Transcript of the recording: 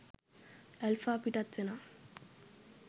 Alpha පිටත් වෙනවා.